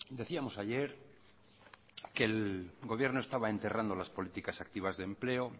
decíamos ayer que el gobierno estaba enterrando las políticas activas de empleo